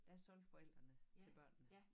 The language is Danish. Der solgte forældene til børnene